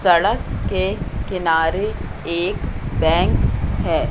सड़क के किनारे एक बैंक है।